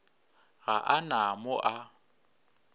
ga a na mo a